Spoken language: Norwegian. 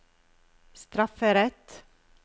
strafferett